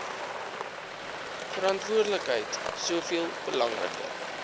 verantwoordelikheid soveel belangriker